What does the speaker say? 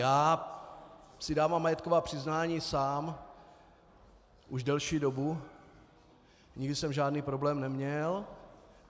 Já si dávám majetková přiznání sám už delší dobu, nikdy jsem žádný problém neměl.